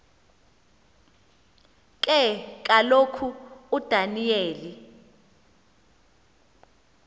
ke kaloku udaniyeli